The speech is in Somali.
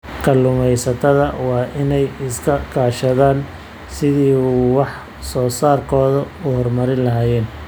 Kalluumaysatada waa in ay iska kaashadaan sidii ay wax soo saarkooda u horumarin lahaayeen.